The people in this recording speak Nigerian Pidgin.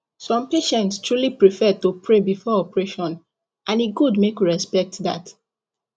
some patients truly prefer to pray before operation and e good make we respect that